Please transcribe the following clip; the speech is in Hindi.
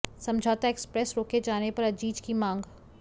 समझौता एक्सप्रेस रोके जाने पर अजीज की मांग